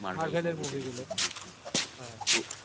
Marvel এর movie গুলো হ্যা